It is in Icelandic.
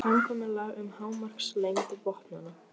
Það var samkomulag um hámarkslengd vopnanna.